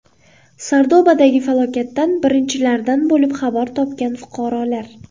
Sardobadagi falokatdan birinchilardan bo‘lib xabar topgan fuqarolar.